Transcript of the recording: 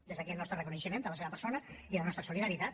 des d’aquí el nostre reconeixement a la seva persona i la nostra solidaritat